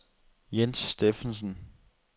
Jens Steffensen